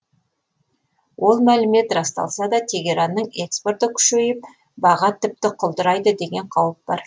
ол мәлімет расталса да тегеранның экспорты күшейіп баға тіпті құлдырайды деген қауіп бар